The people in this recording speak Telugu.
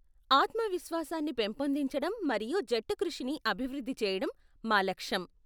ఆత్మవిశ్వాసాన్ని పెంపొందించడం మరియు జట్టుకృషిని అభివృద్ది చెయ్యడం మా లక్ష్యం.